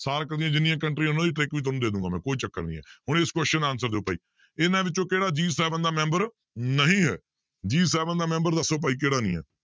Shark ਦੀਆਂ ਜਿੰਨੀਆਂ ਕੰਟਰੀਆਂ ਉਹਨਾਂ ਦੀ trick ਵੀ ਤੁਹਾਨੂੰ ਦੇ ਦਊਂਗਾ ਮੈਂ ਕੋਈ ਚੱਕਰ ਨੀ ਹੈ, ਹੁਣ ਇਸ question ਦਾ answer ਦਿਓ ਭਾਈ ਇਹਨਾਂ ਵਿੱਚੋਂ ਕਿਹੜਾ G seven ਦਾ ਮੈਂਬਰ ਨਹੀਂ ਹੈ G seven ਦਾ ਮੈਂਬਰ ਦੱਸੋ ਭਾਈ ਕਿਹੜਾ ਨੀ ਹੈ?